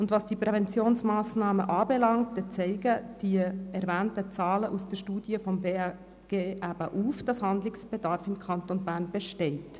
Was die Präventionsmassnahmen anbelangt, zeigen die erwähnten Zahlen aus der Studie des BAG auf, dass im Kanton Bern Handlungsbedarf besteht.